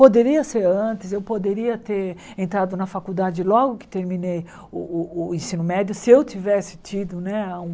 Poderia ser antes, eu poderia ter entrado na faculdade logo que terminei o o o ensino médio, se eu tivesse tido, né, um